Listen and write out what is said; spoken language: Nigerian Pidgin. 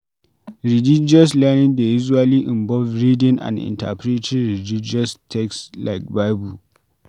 Religious learning dey usually involve reading and interpreting religious text like Bible